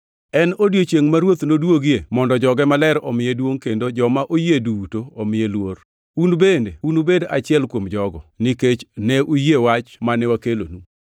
En odiechiengʼ ma Ruoth noduogie mondo joge maler omiye duongʼ kendo joma oyie duto omiye luor. Un bende unubed achiel kuom jogo, nikech ne uyie wach mane wakelonu.